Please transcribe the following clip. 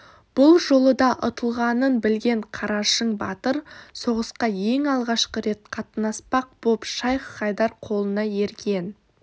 бұл жолы да ұтылғанын білген қарашың батыр соғысқа ең алғашқы рет қатынаспақ боп шайх-хайдар қолына ерген